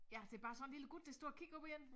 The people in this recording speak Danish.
Ja det bare sådan en lille gut der står og kigger op på en